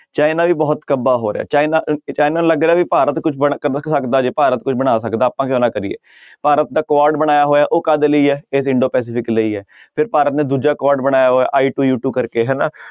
China ਵੀ ਬਹੁਤ ਕੱਬਾ ਹੋ ਰਿਹਾ ਚਾਈਨਾ ਅਹ ਚਾਈਨਾ ਨੂੰ ਲੱਗ ਰਿਹਾ ਵੀ ਭਾਰਤ ਸਕਦਾ ਜੇ ਭਾਰਤ ਬਣਾ ਸਕਦਾ ਆਪਾਂ ਕਿਉਂ ਨਾ ਕਰੀਏ ਭਾਰਤ ਦਾ ਕੁਆਡ ਬਣਾਇਆ ਹੋਇਆ ਉਹ ਕਾਹਦੇ ਲਈ ਹੈ ਇੰਡੋ ਪੈਸਿਫਿਕ ਲਈ ਹੈ ਫਿਰ ਭਾਰਤ ਨੇ ਦੂਜਾ ਕੁਆਡ ਬਣਾਇਆ ਹੋਇਆ ਕਰਕੇ ਹਨਾ